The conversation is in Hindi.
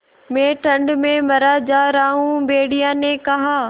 मैं ठंड में मरा जा रहा हूँ भेड़िये ने कहा